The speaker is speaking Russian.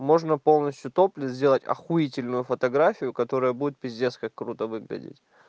можно полностью топлес сделать ахуительно фотографию которая будет пиздец как круто выглядеть